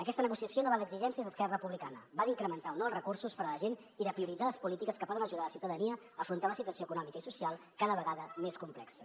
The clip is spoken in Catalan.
aquesta negociació no va d’exigències d’esquerra republicana va d’incrementar o no els recursos per a la gent i de prioritzar les polítiques que poden ajudar la ciutadania a afrontar una situació econòmica i social cada vegada més complexa